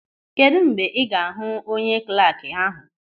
Kedụ mgbe ị ga-ahụ onye klaakị ahụ.